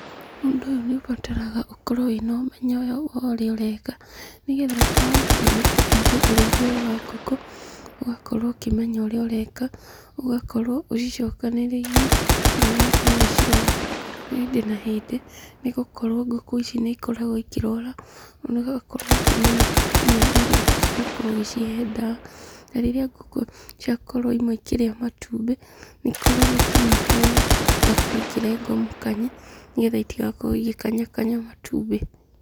Ũndũ ũyũ nĩ ũbataraga ũkorwo wĩna ũmenyo wa ũrĩa ũreka, nĩgetha rĩrĩa wakinya nĩkũrĩithia ũrĩithia ũyũ wa ngũkũ, ũgakorwo ũkĩmenya ũrĩa ũreka, ũgakorwo ũcicokanĩrĩirie ona ũgakorwo ũgĩcirora hĩndĩ na hĩndĩ, nĩgũkorwo ngũkũ ici nĩikoragwo ikĩrwara, na ũgakorwo ũkĩmenya nginya nĩrĩ ũbatiĩ gũkorwo ũgĩcihe ndawa. Na rĩrĩa ngũkũ ciakorwo imwe ikĩrĩa matumbĩ, nĩikoragwo ikĩnyitwo, igakorwo ikĩrengwo mũkanye, nĩgetha itigakorwo igĩkanya kanya matumbĩ.